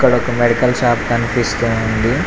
ఇక్కడ ఒక medical shop కనిపిస్తూ ఉంది.